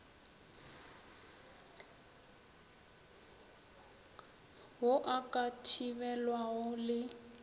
ao a ka thibelwago le